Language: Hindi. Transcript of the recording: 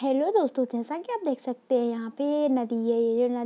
हेल्लो दोस्तों जैसा की आप देख सकते हैं यहाँ पे ये नदी है ये नदी --